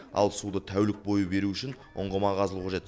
ал суды тәулік бойы беру үшін ұңғыма қазылуы қажет